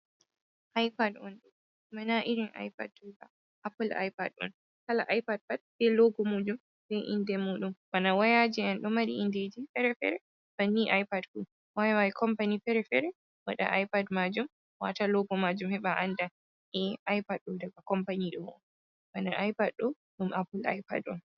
ipad on mana irin ipad do heba apple ipad on hala ipad pad be logo mujum be inde mudum bana wayaji en ɗo mari indeje fere-fere bani ipad fu wayawai company fere-fere wada ipad majum wata logo majum heba anda a ipad do daga company do on bana ipad do dum apple ipad on.